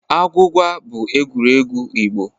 Agwụgwa bụ egwuregwu Igbo.